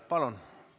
Palun!